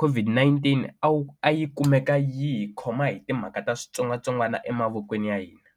COVID-19 a wu a yi kumeka yi hi khoma hi timhaka ta switsongwatsongwana emavokweni ya hina.